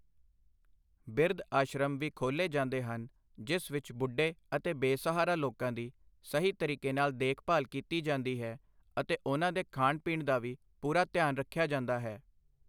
ਬਿਰਧ ਆਸ਼ਰਮ ਵੀ ਖੋਲ੍ਹੇ ਜਾਂਦੇ ਹਨ ਜਿਸ ਵਿੱਚ ਬੁੱਢੇ ਅਤੇ ਬੇਸਹਾਰਾ ਲੋਕਾਂ ਦੀ ਸਹੀ ਤਰੀਕੇ ਨਾਲ ਦੇਖਭਾਲ ਕੀਤੀ ਜਾਂਦੀ ਹੈ ਅਤੇ ਉਹਨਾਂ ਦੇ ਖਾਣ ਪੀਣ ਦਾ ਵੀ ਪੂਰਾ ਧਿਆਨ ਰੱਖਿਆ ਜਾਂਦਾ ਹੈ